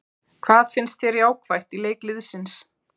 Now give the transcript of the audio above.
Hvað fannst þér jákvætt í leik liðsins?